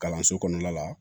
Kalanso kɔnɔna la